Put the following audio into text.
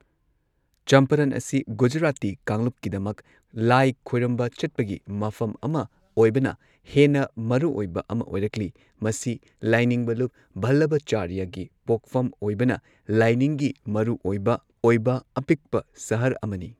ꯆꯝꯄꯥꯔꯟ ꯑꯁꯤ, ꯒꯨꯖꯔꯥꯇꯤ ꯀꯥꯡꯂꯨꯞꯀꯤꯗꯃꯛ ꯂꯥꯏ ꯈꯣꯏꯔꯝꯕ ꯆꯠꯄꯒꯤ ꯃꯐꯝ ꯑꯃ ꯑꯣꯏꯕꯅ ꯍꯦꯟꯅ ꯃꯔꯨꯑꯣꯏꯕ ꯑꯃ ꯑꯣꯏꯔꯛꯂꯤ꯫ ꯃꯁꯤ ꯂꯥꯏꯅꯤꯡꯕ ꯂꯨꯞ ꯚꯜꯂꯚꯆꯥꯔ꯭ꯌꯒꯤ ꯄꯣꯛꯐꯝ ꯑꯣꯏꯕꯅ ꯂꯥꯏꯅꯤꯡꯒꯤ ꯃꯔꯨꯑꯣꯏꯕ ꯑꯣꯏꯕ ꯑꯄꯤꯛꯄ ꯁꯍꯔ ꯑꯃꯅꯤ꯫